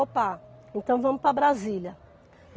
Opa, então vamos para Brasília.